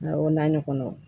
Awɔ o na ɲɔgɔnnaw